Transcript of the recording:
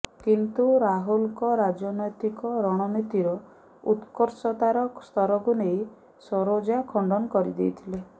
କିନ୍ତୁ ରାହୁଲଙ୍କ ରାଜନୈତିକ ରଣନୀତିର ଉତ୍କର୍ଷତାର ସ୍ତରକୁ ନେଇ ସରୋଜା ଖଣ୍ଡନ କରିଦେଇଥିଲେ